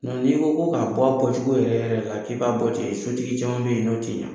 N'i ko ko k'a bɔ bɔcogo yɛrɛ yɛrɛ la k'i b' bɔ ten sotigi caman bɛ yen in n'o tɛ ɲɛ.